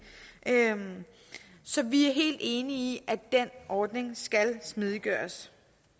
så vi er helt enige i at den ordning skal smidiggøres